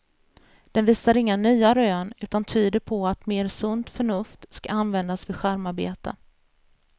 Den visar inga nya rön, utan tyder på att mer sunt förnuft skall användas vid skärmarbete.